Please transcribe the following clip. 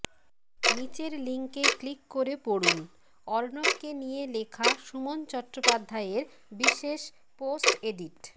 নীচের লিঙ্কে ক্লিক করে পড়ুন অর্ণবকে নিয়ে লেখা সুমন চট্টোপাধ্যায়ের বিশেষ পোস্টএডিট